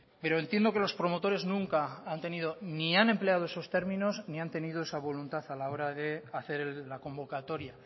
pero entiendo que los promotores nunca han tenido ni han empleado esos términos ni han tenido esa voluntad a la hora de hacer la convocatoria